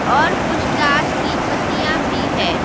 और कुछ तास की पत्तियां भी है।